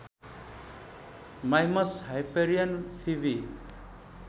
Mimas Hyperion Phoebe